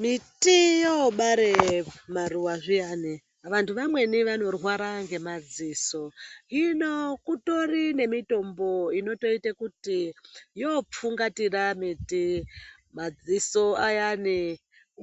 Miti yobara maruva zviyani vantu vamweni vanorwara ngemadziso hino kutori nemitombo inotoita kuti yopfungatira miti madziso ayani